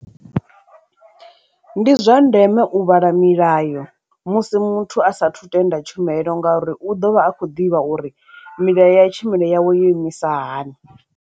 Ndi zwa ndeme u vhala milayo musi muthu a sathu tenda tshumelo ngauri u ḓo vha a khou ḓivha uri milayo ya tshumelo yawe yo imisa hani.